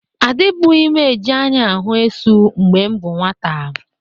Adịbụghị m e ji anya ahụ esu mgbe m bụ nwata.